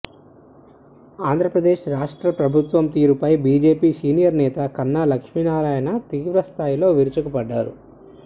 ఆంధ్ర ప్రదేశ్ రాష్ట్ర ప్రభుత్వం తీరు పై బీజేపీ సీనియర్ నేత కన్నా లక్ష్మీ నారాయణ తీవ్ర స్థాయిలో విరుచుకుపడ్డారు